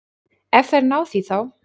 Ef þær ná því þá.